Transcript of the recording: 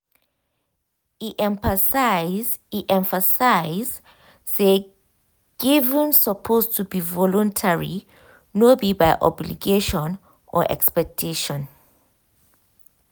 e emphasize e emphasize say giving suppose be voluntary no be by obligation or expectation.